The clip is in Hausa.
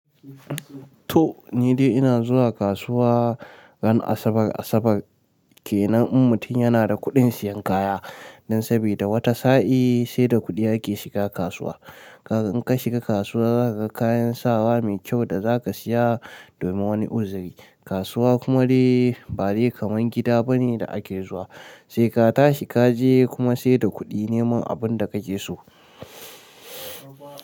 To ni dai ina zuwa kasuwa ran Asabar Asabar kenan in mutum yana da kuɗin siyan kaya. Dan sabida wata sa'i sai da kuɗi ake shiga kasuwa. Kaga in ka shiga kasuwa kaga kayan sawa mai kyau da zaka siya domin wani uzuri. Kasuwa kuma dai ba dai kamar gida bane da ake zuwa. Sai ka tashi kaje kuma sai da kuɗi neman abunda kake so.